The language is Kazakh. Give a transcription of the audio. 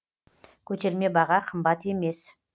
көтерме баға қымбат емес